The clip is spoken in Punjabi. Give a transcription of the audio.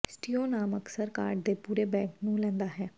ਸਟੂਿੀਓ ਨਾਮ ਅਕਸਰ ਕਾਰਡ ਦੇ ਪੂਰੇ ਬੈਕ ਨੂੰ ਲੈਂਦਾ ਹੈ